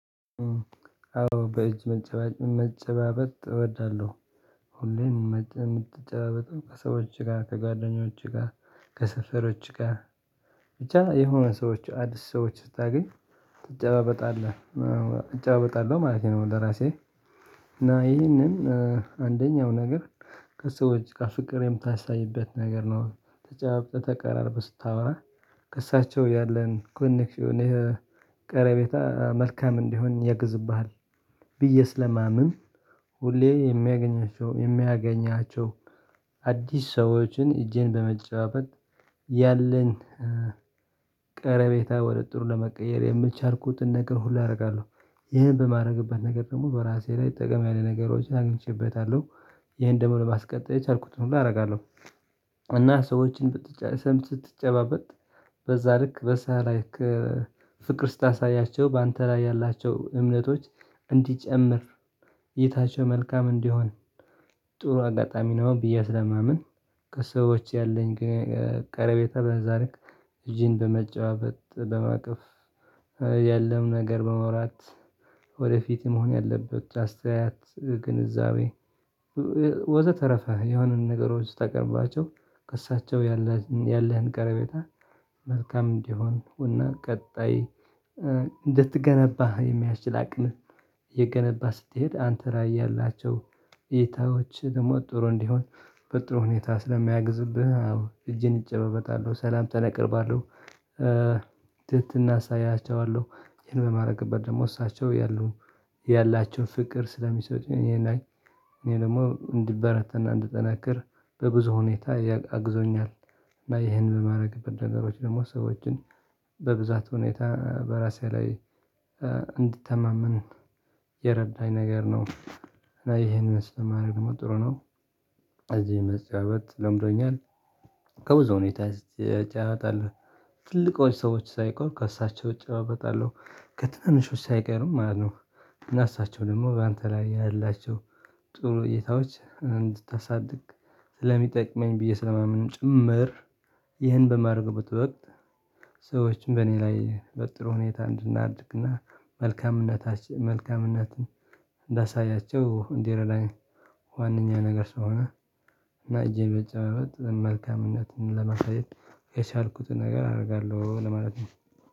አዎ በእጅ መጨባበጥ እወዳለሁ። ሁሌም ምትጨባበጠው ከሰዎች ጋር፣ ከጓደኞች ጋር፣ ከስፈሮች ጋር፣ ብቻ የሆነ ሰዎች፣ አዲስ ሰዎች ስታገኝ ትጨባበጣለህ፣ እጨባበጣለሁ ማለት ነው ለራሴ። እና ይሄንን አንደኛው ነገር ከሰዎች ከፍቅር የምታሳይበት ነገር ነው። ተጫባብጠህ፣ ተቀራርበህ ስታወራ ከእሳቸው ያለን ኮንክሽን ቀረቤታ መልካም እንዲሆን ያግዝብሃል ብዬ ስለማምን፣ ሁሌ የሚያገኛቸው፣ የሚያገኛቸው፣ አዲስ ሰዎችን እጄን በመጨባበጥ ያለን ቀረቤታ ወደ ጥሩ ለመቀየር የምቻልኩት ነገር ሁሉ አደርጋለሁ። ይሄን በማድረግበት ነገር ደግሞ በራሴ ላይ ጥቅም ያለ ነገሮችን አግኝቼበታለሁ። ይሄን ደግሞ ለማስቀጠል የቻልኩትን ሁሉ አደርጋለሁ። እና ሰዎችን ብትጨባበጥ በዛ ልክ፣ በሳላይክ ፍቅር ስታሳያቸው፣ በአንተ ላይ ያላቸው እምነቶች እንዲጨምር፣ እይታቸው መልካም እንዲሆን፣ ጥሩ አጋጣሚ ነው ብዬ አስለማመን ከሰዎች ያለኝ ቀረቤታ በዛ ልክ እጅን በመጨጠባበጥ፣ በማቀፍ ያለው ነገር በመውራት፣ ወደፊት መሆን ያለበት አስተያየት፣ ግንዛቤ ወዘተረፈ የሆነን ነገሮች ስታቀርባቸው ከእሳቸው ያላቸው፣ ያለህን ቀረቤታ መልካም እንዲሆን እና ቀጣይ እንድትገነባ የሚያስችል አቅምህ የገነባ ስትሄድ አንተ ላይ ያላቸው ኢይታዎችህ ደግሞ ጥሩ እንዲሆን በጥሩ ሁኔታ ስለሚያግዝብህ አዎ እጅን እጨባበጣለሁ፣ ሰላምታን አቀርባለሁ። ትህትና አሳያቸዋለሁ። ይሄን በማደርግበት ደግሞ እሳቸው ያሉ፣ ያላቸውን ፍቅር ስለሚሰጡኝ እኔ ላይ እኔ ደግሞ እንዲበረታንና እንድነክር በብዙ ሁኔታ አግዞኛል። እና ይሄን በማድረግ በነገሮች ደግሞ ሰዎችን በብዛት ሁኔታ በራሴ ላይ እንድትተማመን የረዳኝ ነገር ነው። እና ይሄንን ስለማደርግ ደግሞ ጥሩ ነው። እዚህ መጨባበጥ ለምዶኛል። ከብዙ ሁኔታ እጨባበጣለሁ። ትልልቆች ሰዎች ሳይቀሩ ከእሳቸው እጨባበጣለሁ፣ ከትንንሾች ሳይቀርም ማለት ነው። እና እሳቸው ደግሞ በአንተ ላይ ያህላቸው ጥሩ እይታዎች እንድታሳድግ ስለሚጠቅመኝ ብዬ ስለማምንም ጭምር ይህን በማድረግበት ወቅት ሰዎችን በእኔ ላይ በጥሩ ሁኔታ እንድናድግና መልካምነታችን፣ መልካምነትን እንዳሳያቸው እንዲረዳኝ ዋነኛ ነገር ስሆነ እና እጄ በጨባበጥ መልካምነትን ለመሳሰል የቻልኩትን ነገር አደርጋለሁ ለማለት ነው።